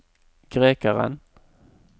grekeren